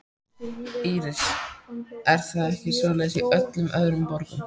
Íris: Er það ekki svoleiðis í öllum öðrum borgum?